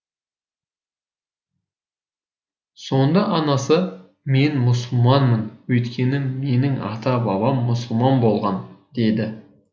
сонда анасы мен мұсылманмын өйткені менің ата бабам мұсылман болған деді